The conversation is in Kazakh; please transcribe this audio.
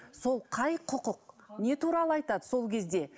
сол қай құқық не туралы айтады сол кезде